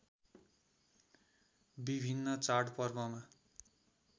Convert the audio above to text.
विभिन्न चाडपर्वमा